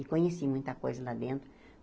E conheci muita coisa lá dentro.